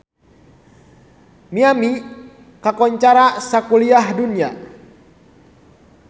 Miami kakoncara sakuliah dunya